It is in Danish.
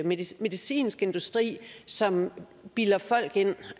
medicinsk industri som bilder folk ind